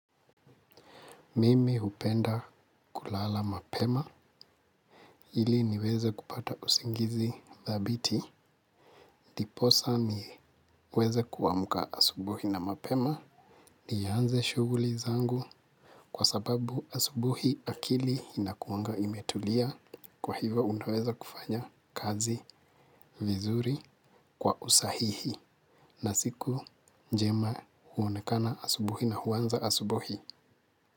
Mimi hupenda kulala mapema, ili niweze kupata usingizi thabiti. Ndiposa niweze kuamka asubuhi na mapema. Nianze shughuli zangu kwa sababu asubuhi akili inakuanga imetulia. Kwa hivo unaweza kufanya kazi vizuri kwa usahihi. Na siku njema huonekana asubuhi na huanza asubuhi.